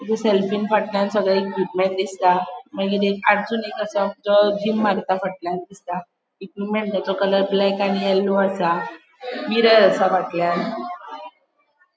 थंय सेल्फ़ीन फाटल्यान सगळे दिसता मागिर एक एक असा तो फाटल्यान दिसता इक्विप्मन्टसो कलर ब्लैक आणि येल्लो असा मिरर आसा फाटल्यान.